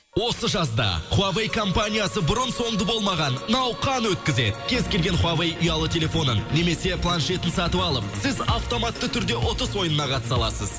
осы жазда хуавэй компаниясы бұрын соңды болмаған науқан өткізеді кез келген хуавэй ұялы телефонын немесе планшетін сатып алып сіз автоматты түрде ұтыс ойынына қатыса аласыз